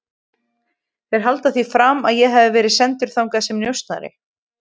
Þeir halda því fram að ég hafi verið sendur þangað sem njósnari